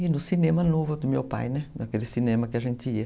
E no cinema novo do meu pai, naquele cinema que a gente ia.